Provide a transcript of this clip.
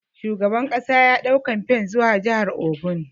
Shugaban kasa ya dau kamfen zuwa jihar Ogun.